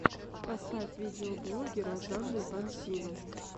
поставь видеоблоги розанны пансино